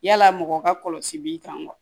Yala mɔgɔ ka kɔlɔsi i kan wa